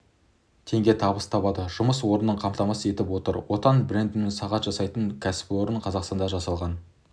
теңге табыс табады жұмыс орнын қамтамасыз етіп отыр отан брендімен сағат жасайтын кәсіпорным қазақстанда жасалған